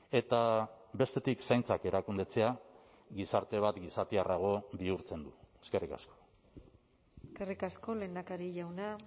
eta bestetik zaintzak erakundetzea gizarte bat gizatiarrago bihurtzen du eskerrik asko eskerrik asko lehendakari jauna